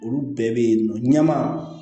Olu bɛɛ bɛ yen nɔ ɲɛma